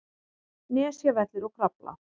Nesjavellir og Krafla.